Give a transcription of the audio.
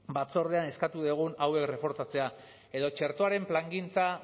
batzordean eskatu dugun hauek reforzatzea edo txertoaren plangintza